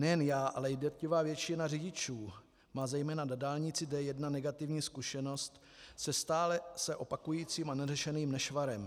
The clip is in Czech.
Nejen já, ale drtivá většina řidičů má zejména na dálnici D1 negativní zkušenost se stále se opakujícím a neřešeným nešvarem.